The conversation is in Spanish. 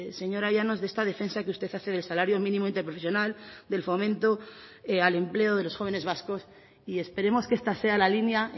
señora llanos de esta defensa que usted hace del salario mínimo interprofesional del fomento al empleo de los jóvenes vascos y esperemos que esta sea la línea